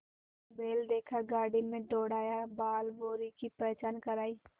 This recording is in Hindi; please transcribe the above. बैल देखा गाड़ी में दौड़ाया बालभौंरी की पहचान करायी